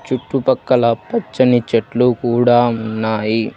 చుట్టూ పక్కల పచ్చని చెట్లు కూడా ఉన్నాయి.